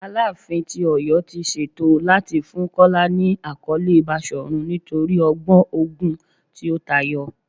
Alaafin ti Oyo ti ṣeto lati fun Kola ni akọle Bashorun nitori ọgbọn ogun ti o tayọ